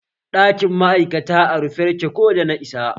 Ɗakin ma'aikata a rufe yake ko da na isa